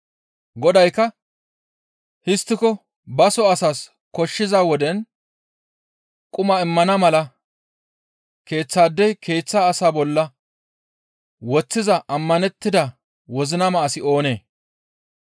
Godaykka, «Histtiko baso asaas koshshiza woden quma immana mala keeththaadey keeththa asaa bolla woththiza ammanettida wozinama asi oonee?